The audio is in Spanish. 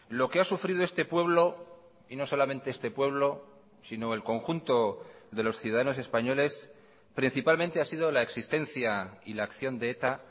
lo que ha sufrido este pueblo y no solamente este pueblo sino el conjunto de los ciudadanos españoles principalmente ha sido la existencia y la acción de eta